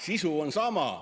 Sisu on sama.